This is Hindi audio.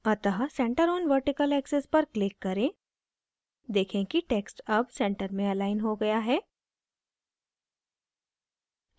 अतः centre on vertical axis पर click करें देखें कि text अब centre में अलाइन हो गया है